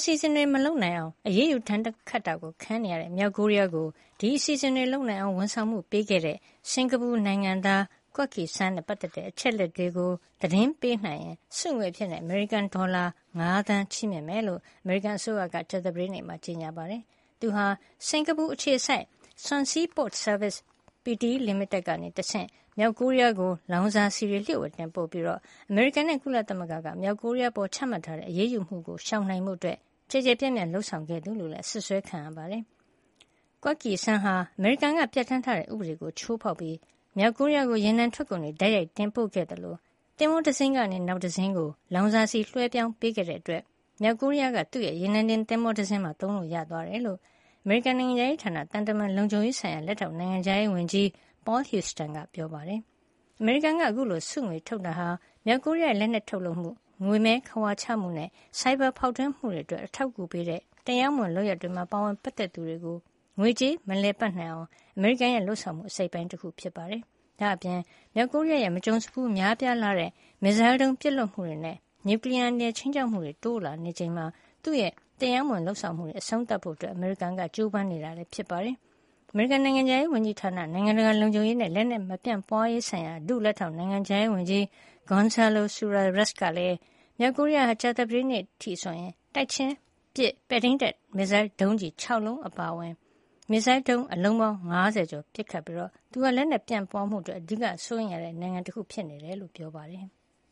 စီအစဉ်တွေ မလုပ်နိုင်အောင် အရေးယူ ဒဏ်ခတ်တာခံနေရတဲ့ မြောက်ကိုရီးယားကို ဒီအစီစဉ်တွေ လုပ်နိုင်အောင်ဝန်ဆောင်မှု ပေးခဲ့တဲ့ စင်္ကာပူနိုင်ငံသား Kwek Kee Seng နဲ့ ပတ်သက်တဲ့ အချက်အလက်တွေကို သတင်းပေးနိုင်ရင် ဆုငွေအဖြစ် အမေရိကန်ဒေါ်လာ ၅ သန်း ချီးမြှင့်မှာဖြစ်ကြောင်း အမေရိကန်အစိုးရက ကြာသပတေးနေ့မှာ ကြေညာပါတယ်။ သူဟာ စင်္ကာပူအခြေစိုက် Swanseas Port Services (S) Pte Ltd ကနေတဆင့် မြောက်ကိုရီးယားကို လောင်စာဆီတွေ လျှို့ဝှက်တင်ပို့ပြီး အမေရိကန်နဲ့ ကုလသမဂ္ဂက မြောက်ကိုရီးယားအပေါ် ချမှတ်ထားတဲ့ အရေးယူမှုတွေကို ရှောင်နိုင်ဖို့ ကျယ်ကျယ်ပြန့်ပြန့် လုပ်ဆောင်ခဲ့သူလို့လည်း အစွပ်စွဲ ခံနေရတာပါ။ Kwek Kee Seng ဟာ အမေရိကန်ပြဌာန်းထားတဲ့ ဥပဒေကို ချိုးဖေါက်ပြီး မြောက်ကိုရီးယားကို ရေနံထွက်ကုန်တွေ တိုက်ရိုက်တင်ပို့ခဲ့သလို သင်္ဘောတစင်းကနေ နောက်တစင်းကို လောင်စာဆီ လွှဲပြောင်းပေးတဲ့အတွက် မြောက်ကိုရီးယားက သူ့ရေနံတင် သင်္ဘောတစင်းမှာ သုံးလို့ရသွားတယ်လို့ အမေရိကန်နိုင်ငံခြားရေးဌာန သံတမန်လုံခြုံရေးဆိုင်ရာ လက်ထောက် နိုင်ငံခြားရေးဝန်ကြီး Paul Houston ကပြောပါတယ်။ အမေရိကန်က အခုလို ဆုငွေထုတ်တာဟာ မြောက်ကိုရီးယားရဲ့ လက်နက်ထုတ်လုပ်မှု၊ ငွေမည်း ခဝါချမှုနဲ့ ဆိုင်ဘာ ဖေါက်ထွင်းမှုတွေအတွက် အထောက်အကူပေးတဲ့ တရားမဝင် လုပ်ရပ်တွေမှာ ပါဝင်ပတ်သက်သူတွေကို ငွေကြေး မလည်ပတ်နိုင်အောင် အမေရိကန်ရဲ့ လုပ်ဆောင်မှု အစိတ်အပိုင်းတခုလည်း ဖြစ်ပါတယ်။ ဒါ့အပြင် မြောက်ကိုရီးယားရဲ့ မကြုံစဖူး များလှတဲ့ မစ်ဇိုင်းဒုံး ပစ်လွှတ်မှုတွေနဲ့ နျူကလီယားအန္တရာယ် ခြိမ်းခြောက်မှုတွေ တိုးလာနေချိန်မှာ သူ့ရဲ့တရားမဝင် လုပ်ဆောင်မှုတွေ အဆုံးသတ်ဖို့ အမေရိကန်က ကြိုးပမ်းနေတာဖြစ်ပါတယ်။ အမေရိကန် နိုင်ငံခြားရေးဝန်ကြီးဌာန နိုင်ငံတကာ လုံခြုံရေးနဲ့ လက်နက် မပြန့်ပွါးရေးဆိုင်ရာ ဒုလက်ထောက် နိုင်ငံခြားရေးဝန်ကြီး Gonzalo Suarez ကလည်း မြောက်ကိုရီးယားဟာ ကြာသပတေးနေ့ အထိဆိုရင် တိုက်ချင်းပစ် ပဲ့ထိန်းတပ် မစ်ဇိုင်းဒုံးကျည် ၆ လုံးအပါအဝင် ပဲ့ထိန်းတပ် မစ်ဇိုင်းဒုံး အလုံး ၅၀ ကျော် ပစ်ခတ်ခဲ့တာဖြစ်ပြီး သူဟာ လက်နက်ပြန့်ပွါးမှုအတွက် အဓိက စိုးရိမ်ရတဲ့ နိုင်ငံတနိုင်ငံဖြစ်နေတယ်လို့ ပြောပါတယ်။